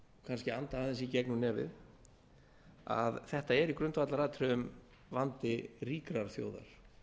kannski anda aðeins í gegnum nefið að þetta er í grundvallaratriðum vandi ríkrar þjóðar